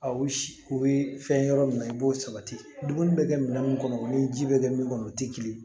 Aw u bɛ fɛn yɔrɔ min na i b'o sabati dumuni bɛ kɛ minɛn min kɔnɔ o ni ji bɛ kɛ min kɔnɔ o tɛ kelen ye